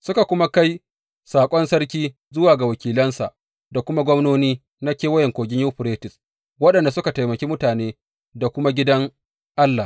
Suka kuma kai saƙon sarki zuwa ga wakilansa, da kuma gwamnoni na Kewayen Kogin Yuferites waɗanda suka taimaki mutane da kuma gidan Allah.